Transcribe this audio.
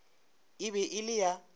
e be e le ya